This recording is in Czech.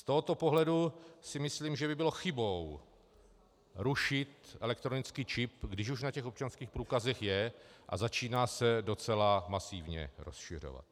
Z tohoto pohledu si myslím, že by bylo chybou rušit elektronický čip, když už na těch občanských průkazech je a začíná se docela masivně rozšiřovat.